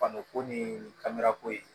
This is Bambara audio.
Fani ko ni kamera ko ye